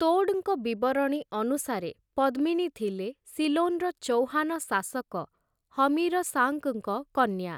ତୋଡ଼୍‌ଙ୍କ ବିବରଣୀ ଅନୁସାରେ ପଦ୍ମିନୀ ଥିଲେ ସିଲୋନ୍‌ର ଚୌହାନ ଶାସକ ହମିର ସାଙ୍କ୍‌ଙ୍କ କନ୍ୟା ।